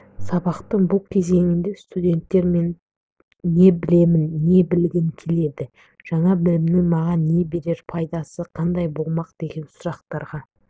сабақтың бұл кезеңінде студенттер не білемін не білгім келеді жаңа білімнің маған берер пайдасы қандай болмақ деген сұрақтарға